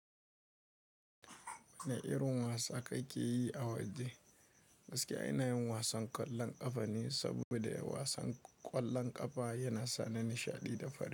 Wane irin wasa kake yi a waje? Gaskiya inayin wasan ƙwallon ƙafa ne, saboda wasan ƙwallon ƙafa yana sa ni nishaɗi da fahimta.